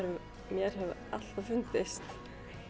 mér hefur alltaf fundist